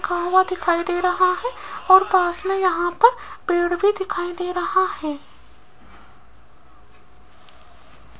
दिखाई दे रहा है और पास में यहां पर पेड़ भी दिखाई दे रहा है।